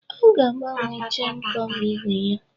Ee, ọ ga agbanwe chen kọva igwe ya